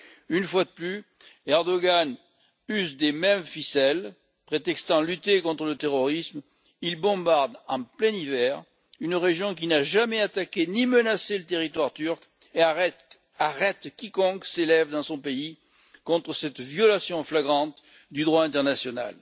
Une fois de plus, Erdogan use des mêmes ficelles prétextant lutter contre le terrorisme, il bombarde en plein hiver une région qui n'a jamais attaqué ni menacé le territoire turc et arrête quiconque s'élève dans son pays contre cette violation flagrante du droit international.